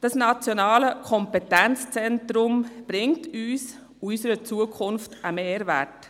Dieses Nationale Kompetenzzentrum gibt uns und unserer Zukunft einen Mehrwert.